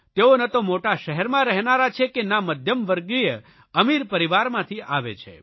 તેઓ ન તો મોટા શહેરમાં રહેનારા છે કે ના મધ્યમવર્ગીય અમીર પરિવારમાંથી આવે છે